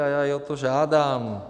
A já i o to žádám.